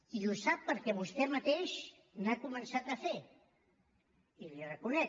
i ho sap perquè vostè mateix n’ha començat a fer i l’hi reconec